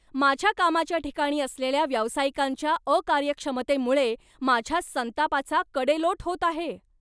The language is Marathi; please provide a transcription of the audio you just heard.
माझ्या कामाच्या ठिकाणी असलेल्या व्यावसायिकांच्या अकार्यक्षमतेमुळे माझ्या संतापाचा कडेलोट होत आहे.